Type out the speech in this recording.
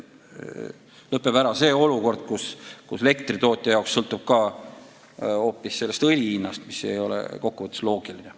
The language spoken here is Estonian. Lõpeb olukord, kus elektritootja jaoks sõltub keskkonnatasu hoopis õli hinnast, mis ei ole loogiline.